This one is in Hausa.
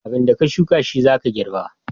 Abinda ka shuka shi zaka girba